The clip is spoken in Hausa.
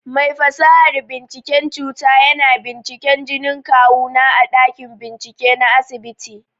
Mai fasahar binciken cuta yana binciken jinin kawu na a ɗakin bincike na asibiti.